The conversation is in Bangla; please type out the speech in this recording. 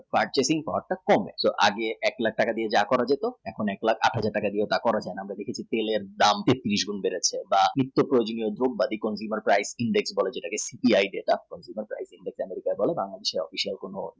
purchasing power টা কমে আগে এক লাখ টাকা দিয়ে যা করা যেত এক লাখ আট হাজার টাকা দিয়ে করা যেতে পারে দাম fifteen years দাম inflation বেড়েছে